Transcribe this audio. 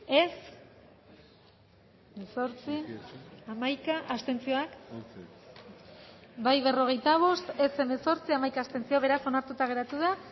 emaitza onako izan da hirurogeita hamalau eman dugu bozka berrogeita bost boto aldekoa hemezortzi contra hamaika abstentzio onartuta geratu da